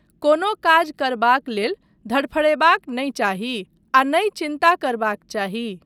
कोनो काज करबाक लेल धड़फड़यबाक नहि चाही आ नहि चिन्ता करबाक चाही।